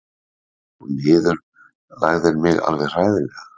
Þú niðurlægðir mig alveg hræðilega.